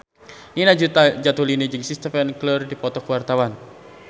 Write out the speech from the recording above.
Nina Zatulini jeung Steven Tyler keur dipoto ku wartawan